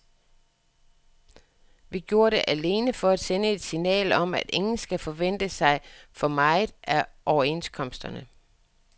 Vi gjorde det alene for at sende et signal om, at ingen skal forvente sig for meget af overenskomsterne.